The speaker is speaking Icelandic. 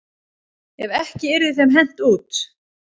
Ef ekki yrði þeim hent út.